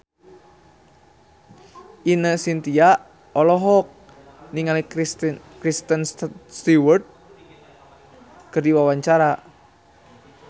Ine Shintya olohok ningali Kristen Stewart keur diwawancara